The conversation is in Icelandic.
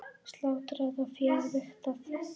Slátrað og féð vigtað.